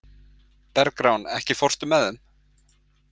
Bergrán, ekki fórstu með þeim?